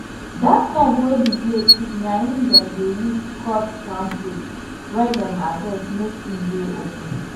that knife wey the blade thick na em dem dey use cut palm fruit wey dem harvest make em dey open